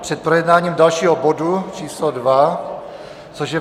Před projednáním dalšího bodu číslo dva, což je